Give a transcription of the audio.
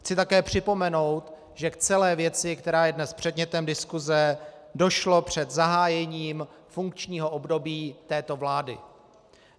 Chci také připomenout, že k celé věci, která je dnes předmětem diskuse, došlo před zahájením funkčního období této vlády.